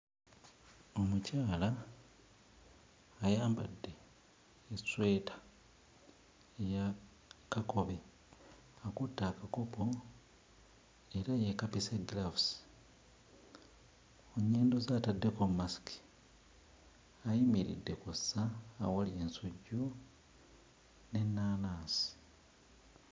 Omukyala ayambadde essweta ya kakobe, akutte akakopo era yeekapise giraavuzi. Ku nnyindo ze ataddeko masiki, ayimiridde ku ssa awali ensujju n'ennaanansi.